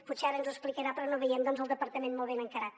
potser ara ens ho explicarà però no veiem doncs el departament molt ben encarat